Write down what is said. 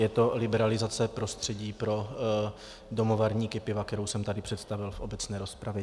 Je to liberalizace prostředí pro domovarníky piva, kterou jsem tady představil v obecné rozpravě.